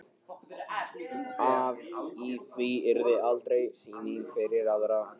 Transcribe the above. Að í því yrði aldrei sýning fyrir aðra.